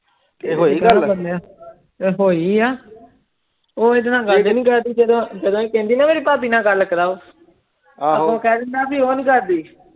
ਤੇ ਹੋਇਆ ਉਹ ਐਡੇ ਨਾਲ ਗਏ ਹੀ ਨਾਈ ਕਰਦੀ ਜਦੋ ਏ ਕਹਿੰਦੀ ਨਾ ਮੇਰੀ ਭਾਭੀ ਨਾ ਗੱਲ ਕਰਾਓ ਅੱਗੋਂ ਕਹਿ ਦੇਂਦਾ ਉਹ ਨਾਈ ਕਰਦੀ